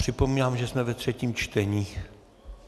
Připomínám, že jsme ve třetím čtení.